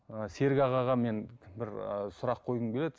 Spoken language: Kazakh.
і серік ағаға мен бір ы сұрақ қойғым келеді